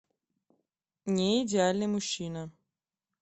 не идеальный мужчина